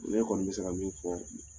Ne kɔni bɛ se ka min fɔ